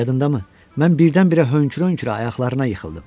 Yadındamı, mən birdən-birə hönkür-hönkürə ayaqlarına yıxıldım.